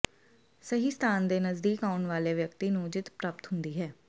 ਸਹੀ ਸਥਾਨ ਦੇ ਨਜ਼ਦੀਕ ਆਉਣ ਵਾਲੇ ਵਿਅਕਤੀ ਨੂੰ ਜਿੱਤ ਪ੍ਰਾਪਤ ਹੁੰਦੀ ਹੈ